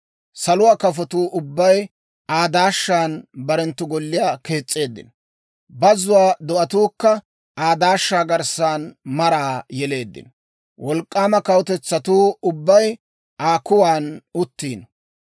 Saluwaa kafotuu ubbay Aa daashshan barenttu golliyaa kees's'eeddino; bazzuwaa do'atuukka Aa daashshaa garssan maraa yeleeddino; wolk'k'aama kawutetsatuu ubbay Aa kuwan uttiino.